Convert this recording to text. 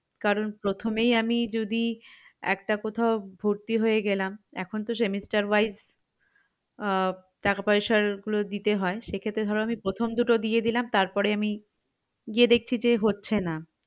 কারণ প্রথমেই আমি যদি একটা কোথাও ভর্তি হয়ে গেলাম এখন তো semester wise আহ টাকা পয়সা গুলো দিতে হয় সেক্ষেত্রে ধরো আমি প্রথম দুটো দিয়ে দিলাম তারপর আমি গিয়ে দেখছি যে হচ্ছে না